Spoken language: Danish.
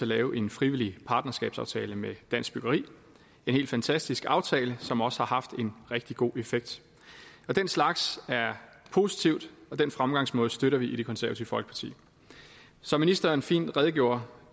lave en frivillig partnerskabsaftale med dansk byggeri en helt fantastisk aftale som også har haft en rigtig god effekt og den slags er positivt og den fremgangsmåde støtter vi i det konservative folkeparti som ministeren fint redegjorde